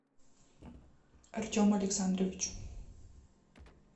артему александровичу